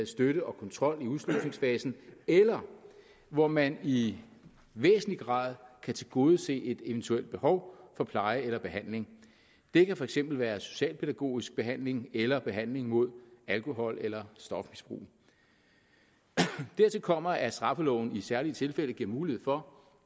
støtte og kontrol i udslusningsfasen eller hvor man i væsentlig grad kan tilgodese et eventuelt behov for pleje eller behandling det kan for eksempel være socialpædagogisk behandling eller behandling mod alkohol eller stofmisbrug dertil kommer at straffeloven i særlige tilfælde giver mulighed for